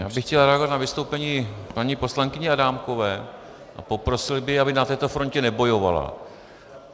Já bych chtěl reagovat na vystoupení paní poslankyně Adámkové a poprosil bych, aby na této frontě nebojovala.